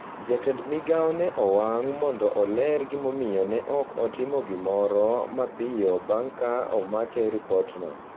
Jatend Migao ne owang’ mondo oler gimomiyo ne ok otimo gimoro mapiyo bang’ ka omake ripotno,